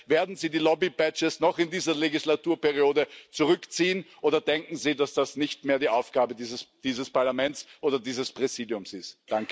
werden Sie die Lobby Badges noch in dieser Wahlperiode zurückziehen, oder denken Sie, dass das nicht mehr die Aufgabe dieses Parlaments oder dieses Präsidiums ist?